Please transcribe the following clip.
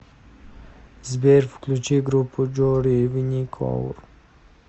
сбер включи группу джори виникоур